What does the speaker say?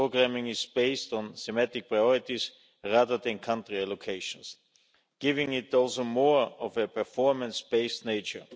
Its programming is based on thematic priorities, rather than country allocations, giving it also more of a performance based nature.